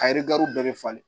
A ye bɛɛ bɛ falen